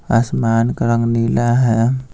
आसमान का रंग नीला है।